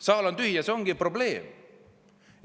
Saal on tühi ja see ongi probleem.